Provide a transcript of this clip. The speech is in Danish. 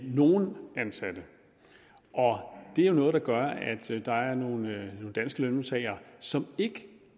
nogle ansatte det er jo noget der gør at der er nogle danske lønmodtagere som ikke